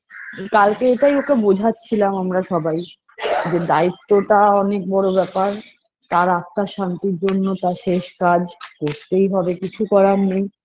কালকে এটাই ওকে বোঝাচ্ছিলাম আমরা সবাই যে দায়িত্বটা অনেক বড়ো ব্যাপার তার আত্মার শান্তির জন্য তার শেষ কাজ করতেই হবে কিছু করার নেই